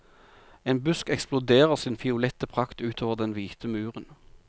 En busk eksploderer sin fiolette prakt utover den hvite muren.